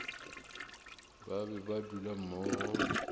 ba be ba dula mmogo